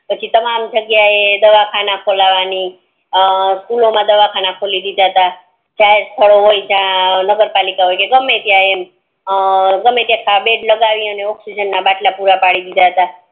પછી તમારા જગ્યા ઈ દવાખાન ખોલવાની અમ મા દવાખાના ખોલી દીધા તા ચાહ હોય નગર પાલિકા હોય કે ગમે તે ગમે ત્યાં બેડ લગાવીને ઑક્સીજન ના બટલા પૂરા પડી દીધા તા